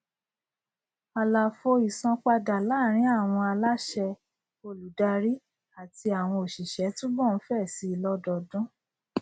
àlàfo ìsanpadà láàrín àwọn aláṣẹ olùdarí àti àwọn òṣìṣẹ túbọ ń fẹ síi lọdọọdún